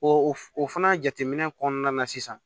O o fana jateminɛ kɔnɔna na sisan